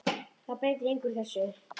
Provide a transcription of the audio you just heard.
Það er breytir engu úr þessu.